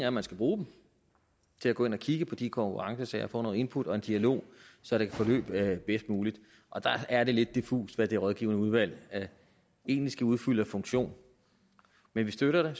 at man skal bruge dem til at gå ind og kigge på de konkurrencesager og få noget input og en dialog så det kan forløbe bedst muligt og der er det lidt diffust hvad det rådgivende udvalg egentlig skal udfylde af funktion men vi støtter